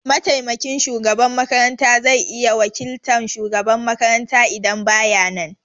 Mataimakin shugaban makaranta zai iya wakiltan shugaban makaranta idan baya nan.